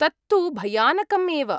तत्तु भयानकम् एव।